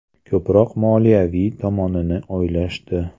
Ko‘proq moliyaviy tomonini o‘ylashdi.